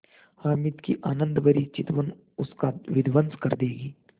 हामिद की आनंदभरी चितवन उसका विध्वंस कर देगी